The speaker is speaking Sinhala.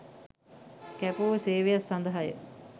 කැපවූ සේවයක් සඳහාය